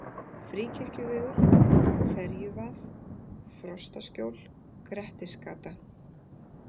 Fríkirkjuvegur, Ferjuvað, Frostaskjól, Grettisgata